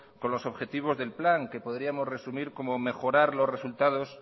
con los objetivos del plan que podríamos resumir como mejorar los resultados